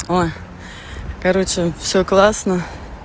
ой короче всё классно